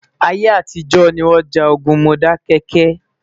ayé àtijó ní wón já ogún Modákéké